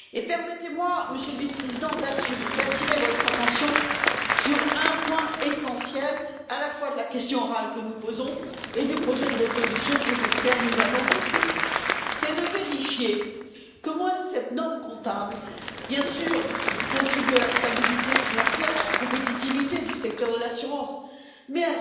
Permettez moi, Monsieur le Vice président, d'attirer votre attention sur un point essentiel tant de la question orale que nous posons que du projet de résolution que je l'espère nous allons voter vérifier qu'au moins, cette norme comptable contribue bien sûr à la stabilité financière et à la compétitivité du secteur de l'assurance, mais